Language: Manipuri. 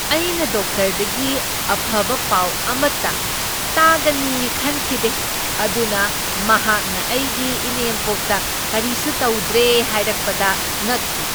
ꯑꯩꯅ ꯗꯣꯛꯇꯔꯗꯒꯤ ꯑꯐꯕ ꯄꯥꯎ ꯑꯃꯠꯇ ꯇꯥꯒꯅꯤ ꯈꯟꯈꯤꯗꯦ ꯑꯗꯨꯅ ꯃꯍꯥꯛꯅ ꯑꯩꯒꯤ ꯏꯅꯦꯝꯄꯣꯛꯇ ꯀꯔꯤꯁꯨ ꯇꯧꯗ꯭ꯔꯦ ꯍꯥꯏꯔꯛꯄꯗ ꯉꯛꯈꯤ ꯫